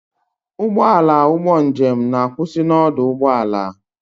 Ụgbọala ụgbọ njem na-akwụsị na ọdụ ụgbọ ala.